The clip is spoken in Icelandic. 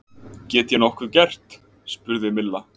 Get ég nokkuð gert? spurði Milla.